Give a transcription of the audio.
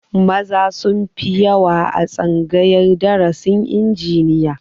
Maza sun fi yawa a tsangayar darasin injiniya